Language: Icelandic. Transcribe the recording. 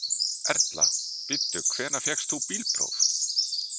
Erla: Bíddu, hvenær fékkst þú bílpróf?